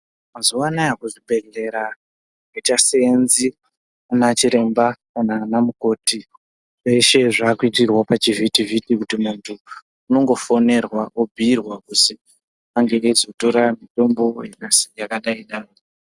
Mazuva anawa kuzvibhedhlera akuchasevenzi ana chiremba kana ana mukoti kweshe zvaukuitirarwa pachivhiti vhiti kuti antu unongofonerwa obhiirwa kuti ange eizotora mitombo yakadai dai.